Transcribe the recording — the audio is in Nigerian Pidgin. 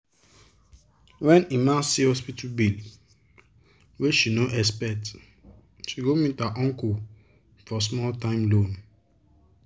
when emma see hospital bill wey she nor expect she go meet her uncle for small time loan.